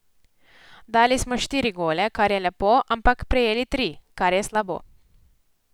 Dali smo štiri gole, kar je lepo, ampak prejeli tri, kar je slabo.